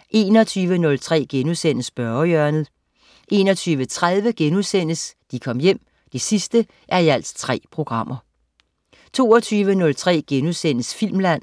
21.03 Spørgehjørnet* 21.30 De Kom Hjem 3:3* 22.03 Filmland*